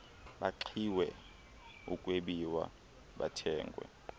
baxhilwe ukwebiwa bathengwe